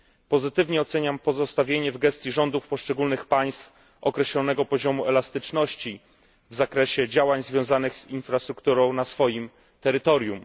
Pozytywnie oceniam pozostawienie w gestii rządów poszczególnych państw określonego poziomu elastyczności w zakresie działań związanych z infrastrukturą na swoim terytorium.